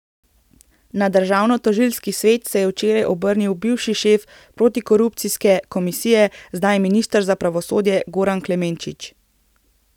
Na državnotožilski svet se je včeraj obrnil bivši šef protikorupcijske komisije, zdaj minister za pravosodje Goran Klemenčič.